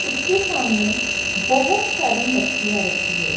उसके सामने बहोत सारी मछलियां रखी है।